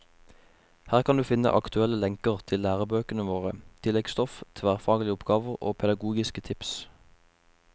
Her kan du finne aktuelle lenker til lærebøkene våre, tilleggsstoff, tverrfaglige oppgaver og pedagogiske tips.